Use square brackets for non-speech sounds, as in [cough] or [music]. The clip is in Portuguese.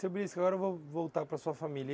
Seu, [unintelligible] agora vamos voltar para sua família.